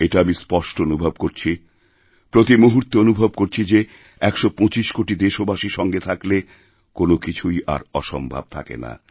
এটা আমি স্পষ্ট অনুভব করছি প্রতি মুহূর্তে অনুভব করছি যে একশো পঁচিশ কোটিদেশবাসী সঙ্গে থাকলে কোনও কিছুই আর অসম্ভব থাকে না